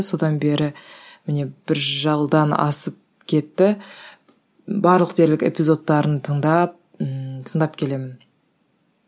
содан бері міне бір жылдан асып кетті барлық дерлік эпизодтарын тыңдап ммм тыңдап келемін